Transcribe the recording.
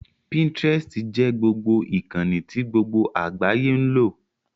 Pinterest jẹ́ ìkànnì tí gbogbo àgbáyé ń lò